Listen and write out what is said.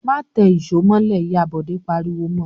"Má tẹ ìṣó mọ́lẹ̀!" Ìyá Bọ̀dé pariwo mọ.